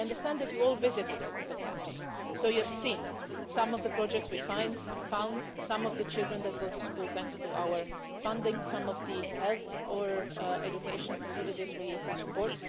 I understand that you all visited the camps, so you have seen some of the projects we fund, some of the children that go to school thanks to our funding, and some of the health and education facilities we support.